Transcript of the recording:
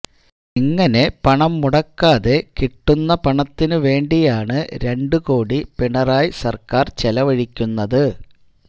ഇങ്ങനെ പണം മുടക്കാതെ കിട്ടുന്ന പണത്തിന് വേണ്ടിയാണ് രണ്ട് കോടി പിണറായി സർക്കാർ ചെലവഴിക്കുന്നത്